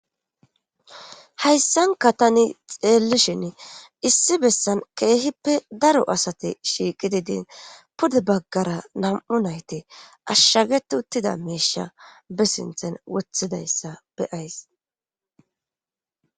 Hayssanka tani xeellishin issi bessan keehippe daro asate shiiqi didin pude baggara nam7u nayti ashshaget uttida meesha be sinthen wothidayssa beyays.